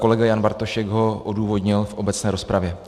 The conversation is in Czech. Kolega Jan Bartošek ho odůvodnil v obecné rozpravě.